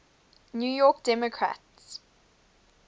new york democrats